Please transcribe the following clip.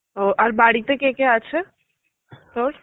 ও আর বাড়িতে কে কে আছে তোর?